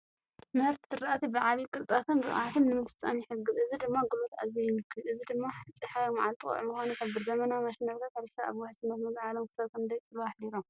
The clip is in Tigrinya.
ምህርቲ ዝራእቲ ብዓቢ ቅልጣፈን ብቕዓትን ንምፍጻም ይሕግዝ፣ እዚ ድማ ጉልበት ኣዝዩ ይንክዮ። እዚ ድማ ጸሓያዊ መዓልቲ ቀውዒ ምዃኑ ይሕብር። ዘመናዊ ማሽነሪታት ሕርሻ ኣብ ውሕስነት ምግቢ ዓለም ክሳብ ክንደይ ጽልዋ ኣሕዲሮም?